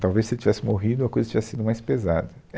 Talvez se ele tivesse morrido, a coisa tivesse sido mais pesada.